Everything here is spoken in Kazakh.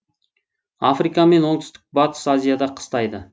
африка мен оңтүстік батыс азияда қыстайды